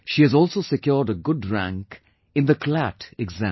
She has also secured a good rank in the CLAT exam